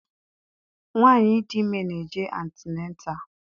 Nwaanyị dị ime na-eje antịnatal.